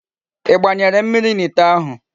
I gbanyere mmiri n'ite ahu?